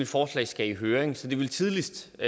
forslag skal i høring så det ville tidligst